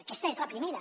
aquesta és la primera